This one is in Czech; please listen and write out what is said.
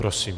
Prosím.